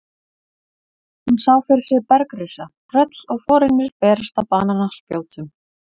Hún sá fyrir sér bergrisa, tröll og forynjur berast á banaspjótum.